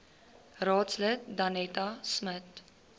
raadslid danetta smit